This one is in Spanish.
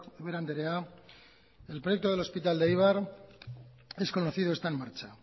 ubera andrea el proyecto del hospital de eibar es conocido y está en marcha